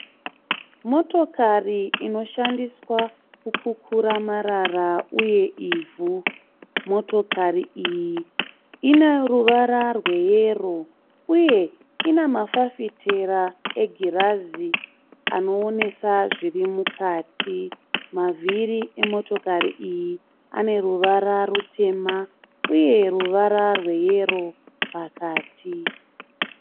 Motokari inoshandiswa kukura marara uye ivhu. Motokari iyi ine ruvara rweyero uye ine mafafitera egirazi anoonesa zviri mukati. Mavhiri emotokari iyi ane ruvara rutema uye ruvara rweyero pakati.